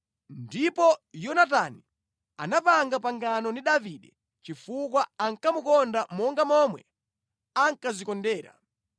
Ndipo Yonatani anapanga pangano ndi Davide chifukwa ankamukonda monga momwe ankadzikondera.